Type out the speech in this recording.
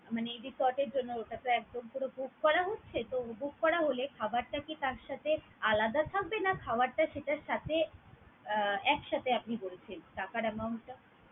মানে resort এর জন্য তারপর একদম পুরো book করা হচ্ছে, তো book করা হলে খাবারটা কি তার সাথে আলাদা থাকবে, না খাওয়ারটা সেটার সাথে আহ একসাথে আপনি বলেছেন টাকার amount টা?